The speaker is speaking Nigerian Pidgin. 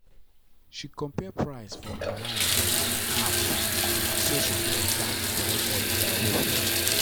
she compare price for online and app naso she take jam correct holiday awoof.